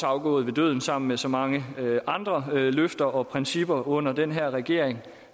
afgået ved døden sammen med så mange andre løfter og principper under den her regering